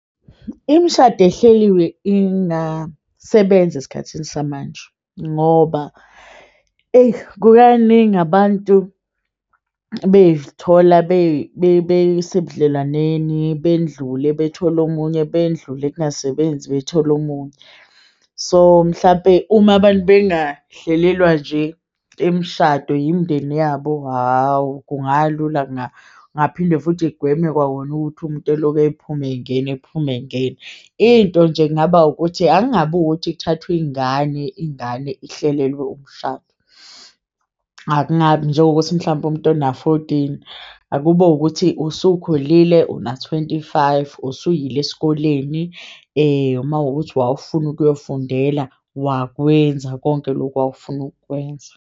Imishado ehleliwe ingasebenza esikhathini samanje ngoba kukaningi abantu bezithola besebudlelwaneni bendlule bethole omunye bendlule, kungasebenzi bethole omunye so mhlampe. Uma abantu bengahlelelwa nje imishado yimindeni yabo, hawu, kungalula. Kungaphinde futhi kugweme kwawona ukuthi umuntu eloke ephume engena, ephume engena into nje kungaba ukuthi angabi ukuthi kuthathwe iyingane, ingane ihlelelwe umshado. Akungabi njengokuthi mhlampe umuntu ona-fourteen akube ukuthi usukhulile una-twenty-five, usuyile esikoleni uma kuwukuthi wawufuna ukuyofundela, wakwenza konke lokhu wawufuna ukwenza.